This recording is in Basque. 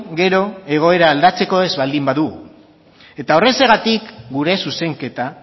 gero egoera aldatzeko ez baldin badu eta horrexegatik gure zuzenketa